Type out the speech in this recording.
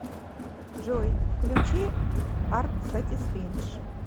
джой включи арт сатисфиндж